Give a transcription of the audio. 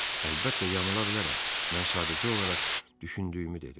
Əlbəttə yanıla bilərəm, mən sadəcə olaraq düşündüyümü dedim.